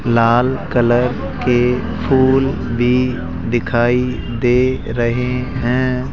लाल colour के फूल भी दिखाई दे रहे हैं।